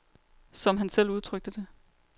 Som han selv udtrykte det.